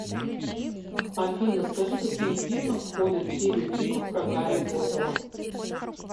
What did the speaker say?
афина скажи какие фильмы входят в серию фильмов про гарри поттера